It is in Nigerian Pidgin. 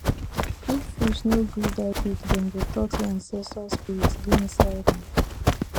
if fish no gree die quick dem go talk say ancestral spirit dey inside am